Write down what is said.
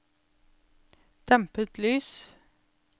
dempet lys